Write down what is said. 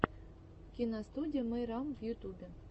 киностудия мейрам в ютюбе